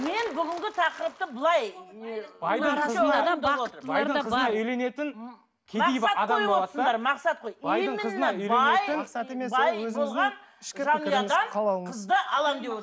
мен бүгінгі тақырыпты былай байдың қызына үйленетін кедей қызды аламын деп